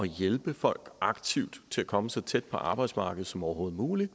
hjælpe folk aktivt til at komme så tæt på arbejdsmarkedet som overhovedet muligt